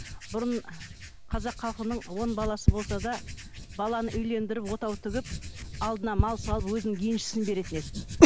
бұрын ы қазақ халқының он баласы болса да баланы үйлендіріп отау тігіп алдына мал салып өзінің еншісін беретін еді